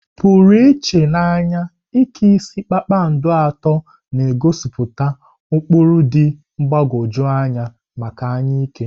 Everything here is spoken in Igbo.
Pụrụ iche na anya, Ike isi kpakpando atọ na-egosipụta ụkpụrụ dị mgbagwoju anya maka anya ike.